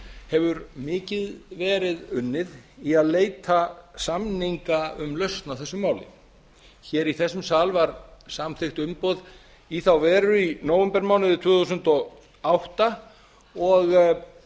hefur mikið verið unnið í að leita samninga um lausn á þessu máli í þessum sal var samþykkt umboð í þá veru í nóvembermánuði tvö þúsund og átta og